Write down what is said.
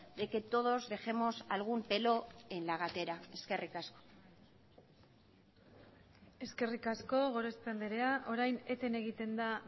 de que todos dejemos algún pelo en la gatera eskerrik asko eskerrik asko gorospe andrea orain eten egiten da